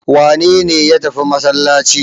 Wane ne ya tafi masallaci?